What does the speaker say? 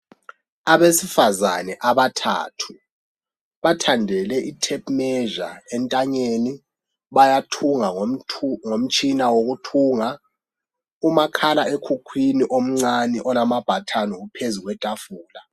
Abesifazane abathathu, bathandele i tape measure entanyeni, bayathunga ngomtshina wokuthunga, umakhala ekhukhwini omncane olama button uphezu kwetafula